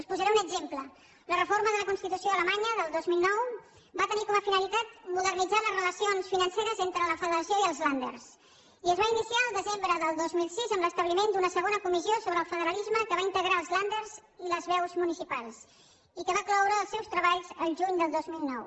els posaré un exemple la reforma de la constitució alemanya del dos mil nou va tenir com a finalitat modernitzar les relacions financeres entre la federació i els länder i és va iniciar el desembre del dos mil sis amb l’establiment d’una segona comissió sobre el federalisme que va integrar els länder i les veus municipals i que va cloure els seus treballs el juny del dos mil nou